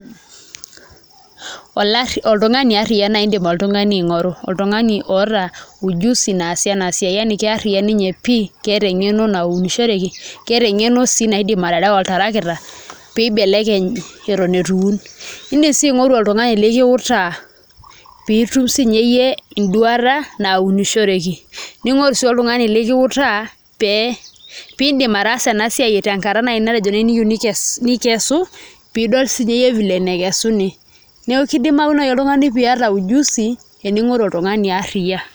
Oltung'ani arriyia naai iindim oltung'ani aing'oru, oltung'ani oota ujuzi naasie ena siai yani ke arriyia ninye pii keeta eng'eno naunishoreki keeta eng'eno sii naidim aterewa oltarakita pee ibelekeny eton itu iun, iindim sii aing'oru oltung'ani likiutaa pee itum siinye iyie enduata naunishoreki ning'oru sii oltung'ani likiutaa piidim ataasa ena siai tenkata naai matejo niyieu nikesu piidol siinye iyie vile nekesuni, neeku kidimayu naai oltung'ani piiata ujuzi ning'oru oltung'ani arriyia.